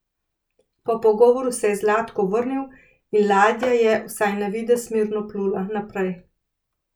Po pogovoru se je Zlatko vrnil in ladja je, vsaj na videz, mirno plula naprej.